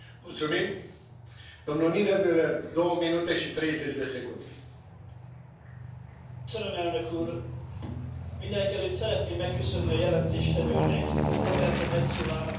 Tisztelt Elnök úr! Mindenekelőtt szeretném megköszönni a jelentéstevőnek, Roberta Metsolának a konstruktív és nyitott együttműködést, ami nélkül ezt a javaslatot soha nem tudtuk volna előkészíteni.